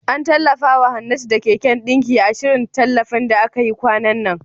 An tallafawa Hannatu da keken ɗinki, a shirin tallafin da aka yi kwanan nan.